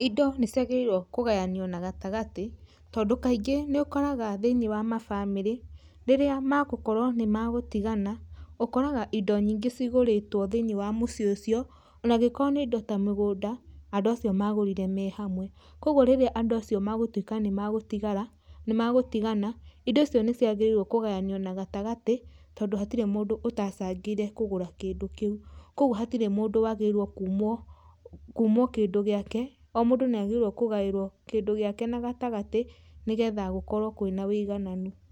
Indo nĩciagĩrĩirwo kũgayanio na gatagatĩ tondũ kaingĩ nĩ ũkoraga thĩiniĩ wa ma bamĩrĩ rĩrĩa ma gũkorwo nĩ magũtigana ũkoraga indo nyingĩ cigũrĩtwo thĩiniĩ wa mũciĩ ũcio o na angĩkorwo nĩ indo ta mĩgũnda andũ acio magũrire me hamwe, kogwo rĩrĩa andũ acio megũtuĩka nimegũtigara nĩmegũtigana indo icio nĩciagĩrĩirwo kũgayanio na gatagatĩ tondũ hatirĩ mũndũ ũtacangĩire kũgũra kĩndũ kĩu, kogwo hatirĩ mũndũ wagĩrĩire kumwo, kumwo kĩndũ gĩake o mũndũ nĩ agĩrĩirwo kũgaĩrwo kĩndũ gĩake na gatagatĩ nĩgetha gũkorwo kwĩna wĩigananu.